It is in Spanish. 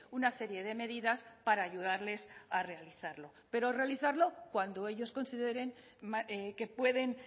una serie de medidas para ayudarles a realizarlo pero realizarlo cuando ellos consideren que pueden